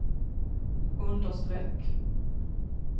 understreck